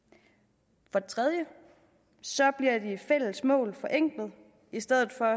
for det tredje bliver de fælles mål forenklet i stedet for